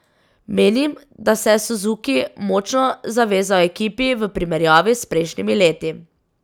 Menim, da se je Suzuki močno zavezal ekipi, v primerjavi s prejšnjimi leti.